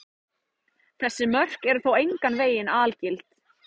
Þessi mörk eru þó engan veginn algild.